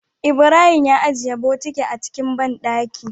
Ibrahim ya ajiye bokiti a cikin banɗaki